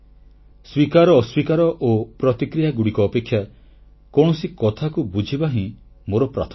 ସ୍ୱୀକାର ଅସ୍ୱୀକାର ଓ ପ୍ରତିକ୍ରିୟାଗୁଡ଼ିକ ଅପେକ୍ଷା କୌଣସି କଥାକୁ ବୁଝିବା ହିଁ ମୋର ପ୍ରାଥମିକତା